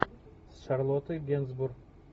с шарлоттой генсбур